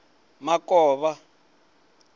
makovha